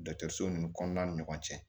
so ninnu kɔnɔna ni ɲɔgɔn cɛ